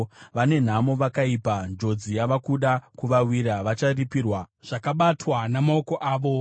Vane nhamo vakaipa! Njodzi yava kuda kuvawira! Vacharipirwa zvakabatwa namaoko avo.